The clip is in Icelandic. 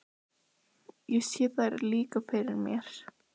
Ég sé þær líka fyrir mér.